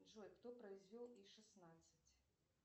джой кто произвел и шестнадцать